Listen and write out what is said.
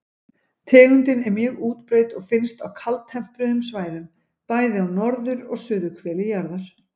Tegundin er mjög útbreidd og finnst á kaldtempruðum svæðum, bæði á norður- og suðurhveli jarðar.